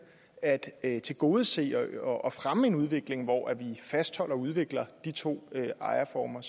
at tilgodese og og fremme en udvikling hvor vi fastholder og udvikler de to ejerformer